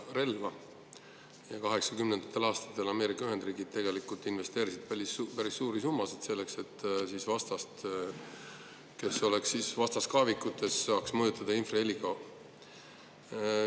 1980. aastatel investeerisid Ameerika Ühendriigid tegelikult päris suuri summasid sellesse, et vastast, kes on vastaskaevikutes, saaks mõjutada infraheliga.